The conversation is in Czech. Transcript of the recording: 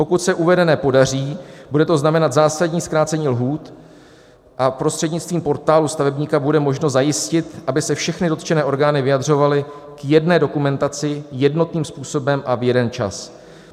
Pokud se uvedené podaří, bude to znamenat zásadní zkrácení lhůt a prostřednictvím Portálu stavebníka bude možno zajistit, aby se všechny dotčené orgány vyjadřovaly k jedné dokumentaci jednotným způsobem a v jeden čas.